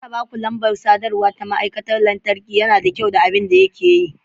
Bari in baku lambar sadarwa ta ma'aikacin lantarki, yana da kyau da abin da yake yi.